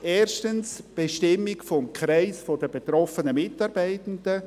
Erstens: die Bestimmung des Kreises der betroffenen Mitarbeitenden;